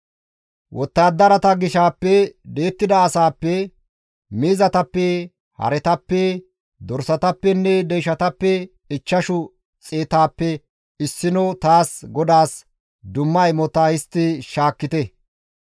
Wottadarata gishaappe di7ettida asaappe, miizatappe, haretappe dorsatappenne deyshatappe ichchashu xeetappe issino taas GODAAS dumma imota histti shaakkite.